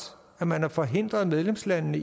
at man har forhindret medlemslandene